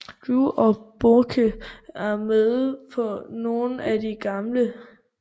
Drew og Bourke er med på nogle af de gamle